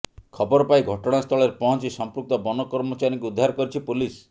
ଖବର ପାଇ ଘଟଣାସ୍ଥଳରେ ପହଞ୍ଚି ସଂପୃକ୍ତ ବନ କର୍ମଚାରୀଙ୍କୁ ଉଦ୍ଧାର କରିଛି ପୋଲିସ୍